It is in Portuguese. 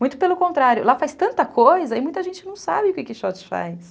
Muito pelo contrário, lá faz tanta coisa e muita gente não sabe o que que quixote faz.